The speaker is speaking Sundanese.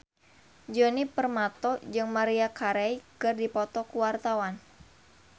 Djoni Permato jeung Maria Carey keur dipoto ku wartawan